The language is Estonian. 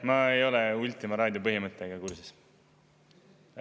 Ma ei ole Ultima raadio põhimõttega kursis.